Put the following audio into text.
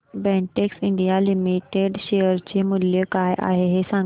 Betex India Limited share चे मूल्य काय आहे हे सांगा